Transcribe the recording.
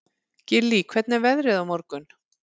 Gillý, hvernig er veðrið á morgun?